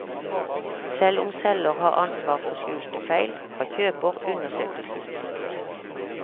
Selv om selger har ansvar for skjulte feil, har kjøper undersøkelsesplikt.